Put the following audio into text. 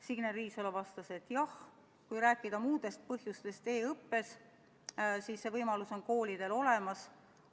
Signe Riisalo vastas, et jah, kui rääkida muudest põhjustest e-õppes, siis see võimalus on koolidel olemas.